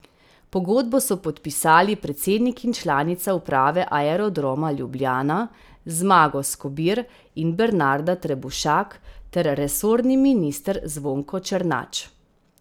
Pogodbo so podpisali predsednik in članica uprave Aerodroma Ljubljana, Zmago Skobir in Bernarda Trebušak, ter resorni minister Zvonko Černač.